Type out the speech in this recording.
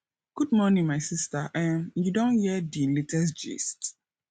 good morning my sista um you don hear di latest gist